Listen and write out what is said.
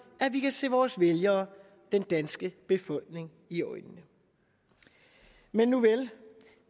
at vi kan se vores vælgere den danske befolkning i øjnene men nuvel